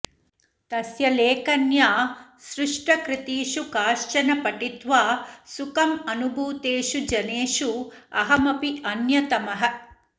तस्य लेखन्या सृष्टकृतिषु काश्चन पठित्वा सुखम् अनुभूतेषु जनेषु अहमपि अन्यतमः